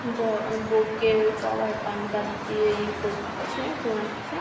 বর আ বৌকে সবাই পান পাত দিয়ে ই করছে চুমাচ্ছে।